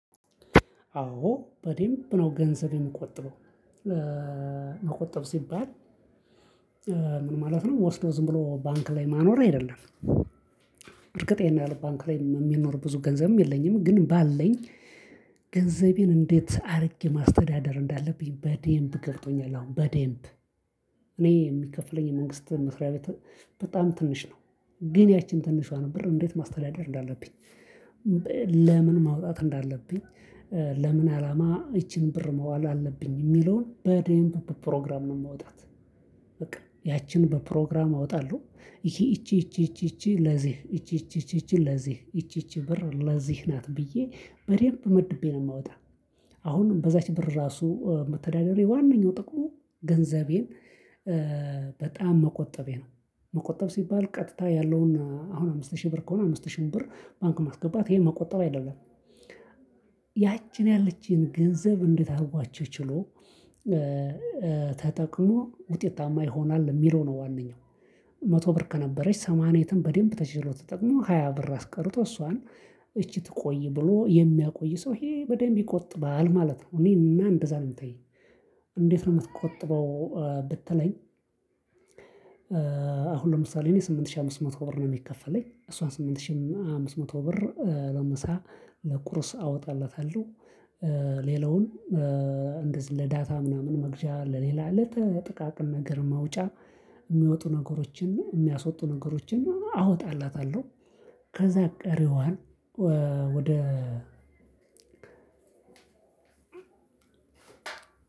አዎ በደንብ ነው ገንዘብ የሚቆጥበው። መቆጠብ ሲባል ምን ማለት ነው። ወስዶ ዝም ብሎ ባንክ ላይ ማኖር አይደለም እርግጥ ይሄን ያህል ባንክ ላይ የሚኖር ብዙ ገንዘብም የለኝም። ግን ባለኝ ገንዘቤን እንዴት አድርጌ ማስተዳደር እንዳለብኝ በደንብ ገብቶኛል። አሁን በደንብ እኔ የሚከፍለኝ መንግስት መስሪያ በጣም ትንሽ ነው። ግን ያቺን ትንሿ ነው ብር እንዴት ማስተዳደር እንዳለብኝ ለምን ማውጣት እንዳለብኝ ለምን አላማ ይቺን ብር መዋል አለብኝ የሚለውን በደንብ ፕሮግራም ነው የምወጣት በቃ ያቺን በፕሮግራም አወጣለሁ። ይሄ እቺ እቺ እቺ እቺ እቺ ለዚህ እቺ እቺ እቺ ለዚህ እቺ ብር ለዚህ ናት ብዬ በደንብ መድቤ ነው የማወጣው። አሁን በዛች ብር ራሱ መስተዳዳሬ ዋናው ጥቅሙ ገንዘቤን በጣም መቆጠቤ ነው። መቆጠብ ሲባል ቀጥታ ያለውን አሁን አምስት ሺህ ብር ከሆነ አምስት ሺህ ብር ባንክ ማስገባት ይሄን መቆጠር አይደለም። ያችን ያለችን ገንዘብ እንድታዋቸው ችሎ ተጠቅሎ ውጤታማ ይሆናል የሚለው ነው። ዋናው መቶ ብር ከነበረች ሰማንያ በደንብ ተችሎ ተጠቅሞ ሃያ ብር አስቀርቶ እሷን እቺ ትቆይ ብሎ የሚያቆይ ሰው ይሄ በደንብ ይቆጥባል ማለት ነው። እኔና እንደዛ ነው የምታየው እንዴት ነው የምትቆጥበው ብትለኝ አሁን ለምሳሌ እኔ ስምንት ሺህ አምስት መቶ ብር ነው። የሚከፈለኝ እሷን ስምንት ሺህ አምስት መቶ ብር ለምሳ ለቁርስ አወጣላታለሁ። ሌላውን እንደዚህ ለዳታ ምናምን መግዣ ለሌላ ለተጠቃቀም ነገር መውጫ የሚወጡ ነገሮችን እና የሚያስወጡ ነገሮችን እና አወጣላታለሁ። ከዛ ቀሪዋን